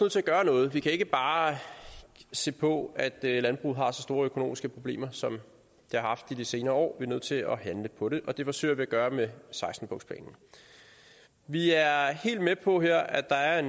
til at gøre noget vi kan ikke bare se på at landbruget har så store økonomiske problemer som det har haft i de senere år vi er nødt til at handle på det og det forsøger vi at gøre med seksten punktsplanen vi er helt med på her at der er